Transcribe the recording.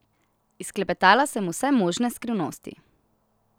Izklepetala sem vse možne skrivnosti.